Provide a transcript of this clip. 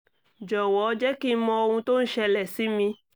jọ̀wọ́ jẹ́ kí n mọ ohun tó ń ṣẹlẹ̀ sí mi